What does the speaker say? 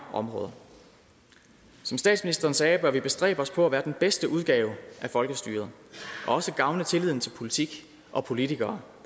områder som statsministeren sagde bør vi bestræbe os på at være den bedste udgave af folkestyret og også gavne tilliden til politik og politikere